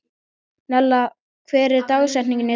Nella, hver er dagsetningin í dag?